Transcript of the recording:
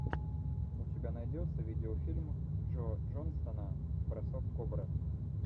у тебя найдется видеофильм джо джонсона бросок кобры